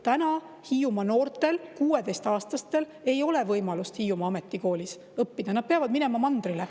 Täna Hiiumaa noortel, 16-aastastel, ei ole võimalust Hiiumaa Ametikoolis õppida, nad peavad minema mandrile.